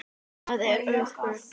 Það er öflugt.